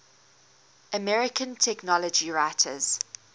american technology writers